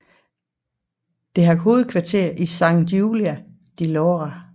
Det har hovedkvarter i Sant Julià de Lòria